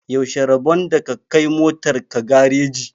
Yaushe rabon da ka kai motar ka gareji?